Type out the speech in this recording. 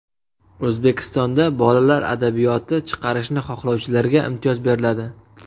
O‘zbekistonda bolalar adabiyoti chiqarishni xohlovchilarga imtiyoz beriladi.